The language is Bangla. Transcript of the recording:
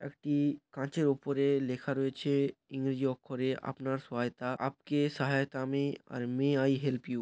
একটি কাচের উপরে লেখা রয়েছে ইংরেজি অক্ষরে আপনার সহায়তা আপকে সাহায়েতামে আর মে আই হেল্প ইউ ।